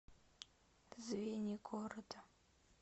звенигорода